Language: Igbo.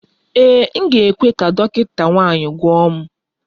Ee, m ga-ekwe ka dọkịta nwanyị gwọọ m